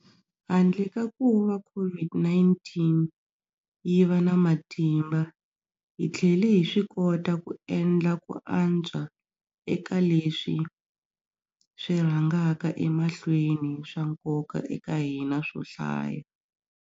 Handle ka kuva COVID-19 yi va na matimba, hi tlhele hi swikota ku endla ku antswa eka leswi swi rhangaka emahlweni swa nkoka eka hina swo hlaya.